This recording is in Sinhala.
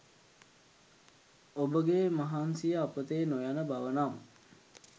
ඔබ ගේ මහන්සිය අපතේ නොයන බව නම්